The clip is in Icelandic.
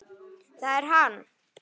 ÞAÐ ER HANN!